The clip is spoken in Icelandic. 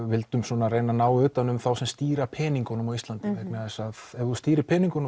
vildum svona reyna að ná utan um þá sem stýra peningunum á Íslandi vegna þess að ef þú stýrir peningunum